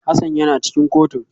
Hassan yana cikin kotun